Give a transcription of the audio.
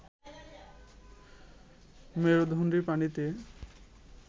মেরুদণ্ডী প্রাণীতে